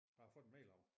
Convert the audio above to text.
Jeg har fået en mail om det